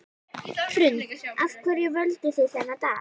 Hrund: Af hverju völduð þið þennan dag?